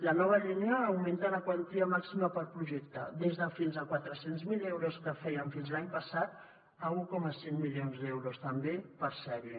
la nova línia augmenta la quantia màxima per projecte des de fins a quatre cents miler euros que fèiem fins l’any passat fins a un coma cinc milions d’euros també per sèrie